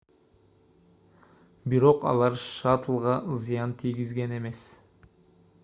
бирок алар шаттлга зыян тийгизген эмес